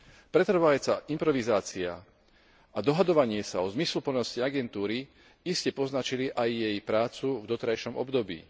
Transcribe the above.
Pretrvávajúca improvizácia a dohadovanie sa o zmysluplnosti agentúry iste poznačili aj jej prácu v doterajšom období.